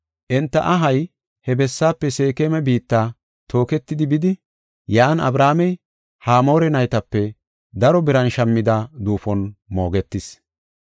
Enta ahay he bessaafe Seekema biitta tooketidi bidi, yan Abrahaamey Hamoore naytape daro biran shammida duufon moogetis.